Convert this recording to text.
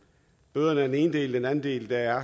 bøderne er den ene del den anden del er